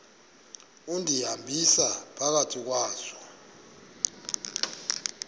undihambisa phakathi kwazo